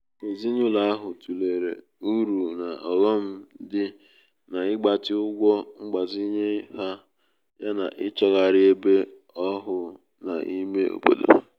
um ezinụlọ ahụ tụlere uru na ọghọm dị n'ịgbatị ụgwọ mgbazinye ha yana ịchọgharị ebe ọhụụ n’ime obodo